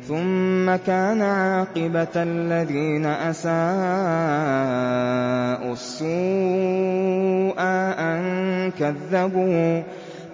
ثُمَّ كَانَ عَاقِبَةَ الَّذِينَ أَسَاءُوا السُّوأَىٰ